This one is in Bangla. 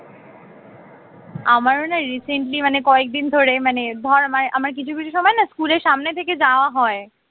আমারো না recently মানে কয়েকদিন ধরে মানে ধর মানে আমার কিছু কিছু সময় না স্কুলের সামনে থেকে যাওয়া হয়